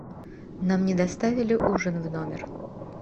нам не доставили ужин в номер